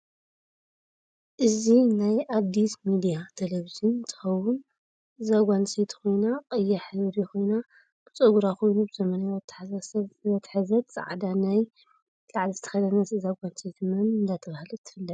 እዚ ናይ ኣዲስ ምድያ ተለቨጅን እንትከውን እዛ ጋል ኣንስተይት ኮይና ቀያሕ ሕብሪ ኮይና ብፀግራ ኮይኑ ዘመናዊ ኣተሓሕዛ ዘትሕዘት ፃዕዳ ናይ ላዕሊ ዝተከደነት እዛ ጋል ኣንስተይቲ መን እደተበሃለት ትፍለጥ?